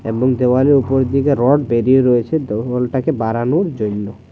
এবং দেওয়ালের উপর দিকে রড বেড়িয়ে রয়েছে দেওয়ালটাকে বাড়ানোর জইন্য।